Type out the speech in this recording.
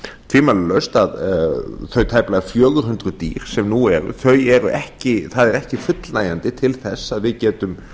tvímælalaust að þau tæplega fjögur hundruð dýr sem nú eru það er ekki fullnægjandi til þess að við getum